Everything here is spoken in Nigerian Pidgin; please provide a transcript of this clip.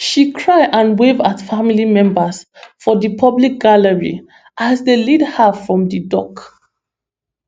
she cry and wave at family members for di public gallery as dem lead her from di dock